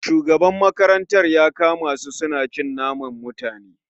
Shugaban makarantar ya kama su suna cin naman mutane